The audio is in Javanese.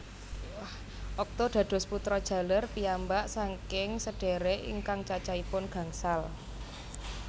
Okto dados putra jaler piyambak saking sedhérék ingkang cacahipun gangsal